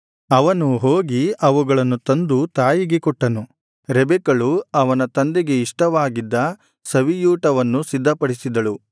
ಅವನು ಹೋಗಿ ಅವುಗಳನ್ನು ತಂದು ತಾಯಿಗೆ ಕೊಟ್ಟನು ರೆಬೆಕ್ಕಳು ಅವನ ತಂದೆಗೆ ಇಷ್ಟವಾಗಿದ್ದ ಸವಿಯೂಟವನ್ನು ಸಿದ್ಧಪಡಿಸಿದಳು